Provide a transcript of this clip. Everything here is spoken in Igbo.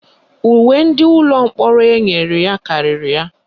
Uwe ndị ụlọ mkpọrọ enyere ya karịrị ya.